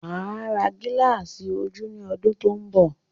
Máa ra gilasi ojú ní ọdún tó n bọ